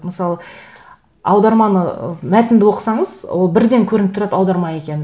мысалы аударманы мәтінді оқысаңыз ол бірден көрініп тұрады аударма екені